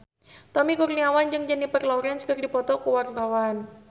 Tommy Kurniawan jeung Jennifer Lawrence keur dipoto ku wartawan